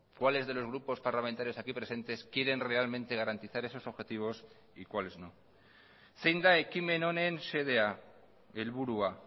cuales de los grupos parlamentarios aquí presentes quieren realmente garantizar esos objetivos y cuáles no zein da ekimen honen xedea helburua